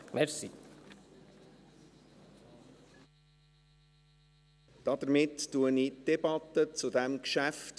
Damit unterbreche ich die Debatte zu diesem Geschäft.